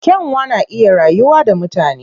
Kyanwa na iya rayuwa da mutane.